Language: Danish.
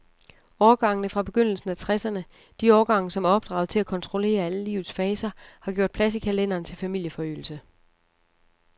Årgangene fra begyndelsen af tresserne, de årgange, som er opdraget til at kontrollere alle livets faser, har gjort plads i kalenderen til familieforøgelse.